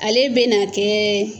Ale bɛna kɛ.